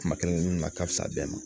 Kuma kelen kelenninw na ka fisa bɛɛ ma